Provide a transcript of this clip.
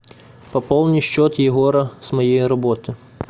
пополни счет егора с моей работы